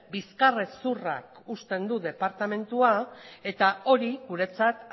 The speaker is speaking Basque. bizkarrezurrak uzten du departamentua eta hori guretzat